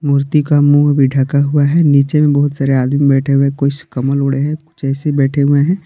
मूर्ति का मुंह भी ढका हुआ हैं नीचे में बहुत सारे आदमी बेठे हुए हैं कुछ कंबल ओढ़े हैं कुछ ऐसे ही बैठे हुए हैं।